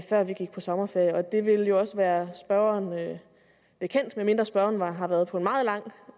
før vi gik på sommerferie og det vil jo også være spørgeren bekendt medmindre spørgeren har været på en meget lang